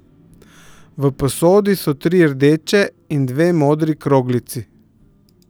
V posodi so tri rdeče in dve modri kroglici.